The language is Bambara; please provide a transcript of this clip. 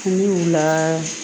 Kun y'u la